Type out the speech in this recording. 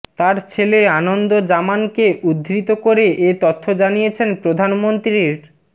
তার ছেলে আনন্দ জামানকে উদ্ধৃত করে এ তথ্য জানিয়েছেন প্রধানমন্ত্রীর